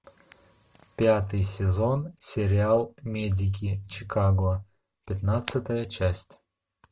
пятый сезон сериал медики чикаго пятнадцатая часть